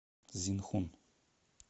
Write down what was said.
цзинхун